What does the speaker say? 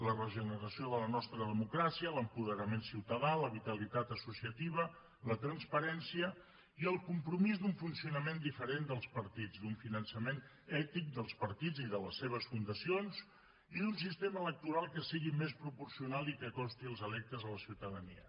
la regeneració de la nostra democràcia l’apoderament ciutadà la vitalitat associativa la transparència i el compromís d’un funcionament diferent dels partits d’un finançament ètic dels partits i de les seves fundacions i d’un sistema electoral que sigui més proporcional i que acosti els electes a la ciutadania